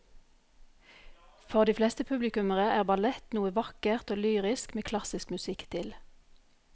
For de fleste publikummere er ballett noe vakkert og lyrisk med klassisk musikk til.